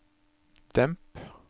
demp